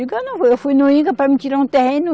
Eu não vou. Eu fui no Inca para mim tirar um terreno.